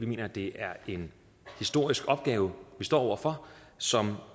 mener det er en historisk opgave vi står over for som